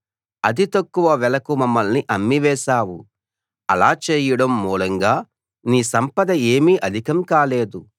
అతి తక్కువ వెలకు మమ్మల్ని అమ్మివేశావు అలా చేయడం మూలంగా నీ సంపద ఏమీ అధికం కాలేదు